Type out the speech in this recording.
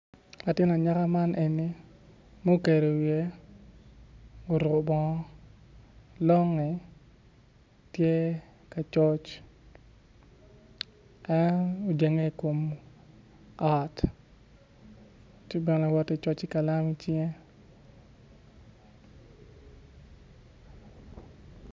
Latin anyaka man eni mukedo wiye oruko bongo longe tye ka coc en ojenge ikom ot tye bene kawot ki coc ki kalam icinge